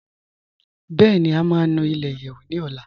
Bẹẹni, à má nù ilẹ̀-ìyẹ́wù ní ọ̀là.